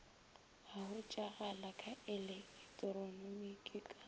a hwetšagala ka eleketroniki ka